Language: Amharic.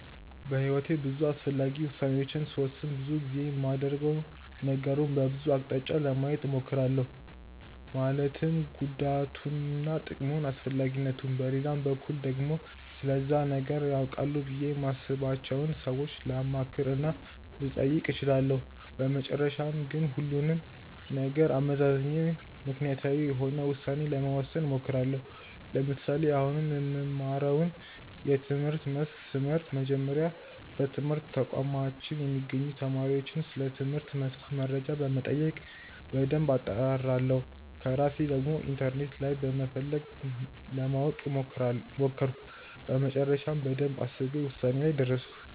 በሕይወቴ ውስጥ አስፈላጊ ውሣኔዎችን ስወስን ብዙ ጊዜ የማደርገው ነገሩን በብዙ አቅጣጫ ለማየት እሞክራለሁ ማለትም ጉዳቱንና ጥቅሙን፣ አስፈላጊነቱን። በሌላ በኩል ደግሞ ስለዛ ነገር ያውቃሉ ብዬ የማስባቸውን ሰዎች ላማክር እና ልጠይቅ እችላለሁ። በመጨረሻም ግን ሁሉንም ነገር አመዛዝኜ ምክንያታዊ የሆነ ውሳኔ ለመወሰን እሞክራለሁ። ለምሳሌ፦ አሁን የምማረውን የትምህርት መስክ ስመርጥ፤ በመጀመሪያ በትምህርት ተቋማችን የሚገኙትን ተማሪዎችን ስለትምህርት መስኩ መረጃዎች በመጠየቅ በደንብ አጣራሁ። ከዛ በራሴ ደግሞ ኢንተርኔት ላይ በመፈለግ ለማወቅ ሞከርኩ፤ በመጨረሻም በደንብ አስቤ ውሳኔ ላይ ደረስኩ።